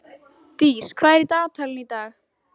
Dís, hvað er í dagatalinu í dag?